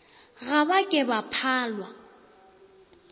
ga ba ke ba phalwa